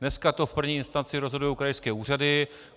Dneska to v první instanci rozhodují krajské úřady.